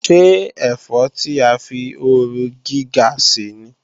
Ṣé ẹ̀fọ́ tí a fi ooru gíga ṣè ní?